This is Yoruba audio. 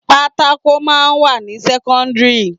Pátákò máa ń wà ní sẹ́kọ́ńdírì.